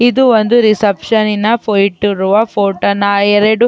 ಇದು ಒಂದು ರಿಸೆಪ್ಶನ್ ನಿನ ಫೈಟ್ ಇರುವ ಫೋಟೋನ ನಾ ಎರಡು --